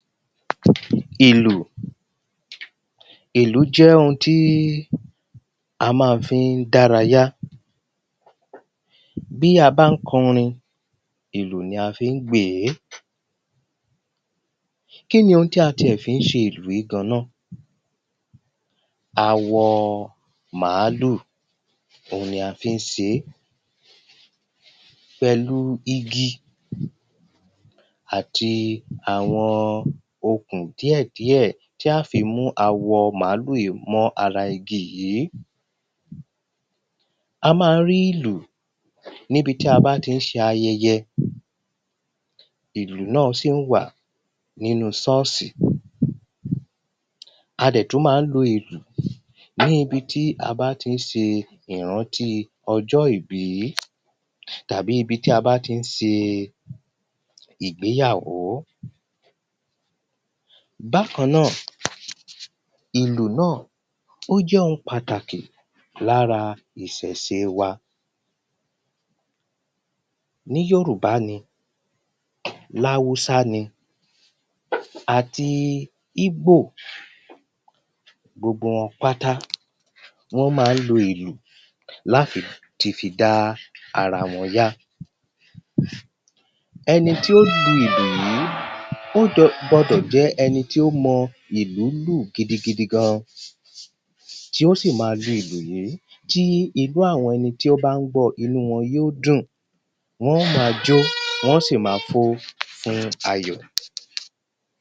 Ìlù. Ìlù jẹ́ ohun tí a má ń fí dárayá. Bí a bá ń kọrin Ìlù ni a fi ń gbè é. Kíni ohun tí a ti ẹ̀ fí ń ṣe ìlú yìí gan ná? Awọ màálù ohun ni a fí ń se é pẹ̀lú igi àti àwọn òkùn díẹ̀ díẹ̀ tí a fi mú awọ màálù yìí mọ́ ara igi yìí. A má ń rí ìlù níbi tí a bá tí ń ṣe ayẹyẹ ìlù náà sì wà nínú sọ́ọ̀sì. A dẹ̀ tún má ń lo ìlù ní ibi tí a bá tí ń ṣe ìrántí ọjọ́ ìbí tàbí ibi tí a bá tí ń se ìgbéyàwó. Bákan náà ìlù náà ó jẹ́ ohun pàtàkì lára ìsẹ̀se wa. Ní yòrùbá ni láwúsá ni àti íbò gbogbo wọn pátá wọ́n má ń lo ìlù láfi ti fi dá ara wọn yá. Ẹni tí ó lu ìlù yìí ó gbọdọ̀ jẹ́ ẹni tí ó mọ ìlù lù gidi gidi gan. Tí ó sì má lu ìlù yìí tí inú àwọn ẹni tí ó bá ń gbọ inú wọn yó dùn wọ́n ó má jó wọ́n ó sì má fò fún ayọ̀.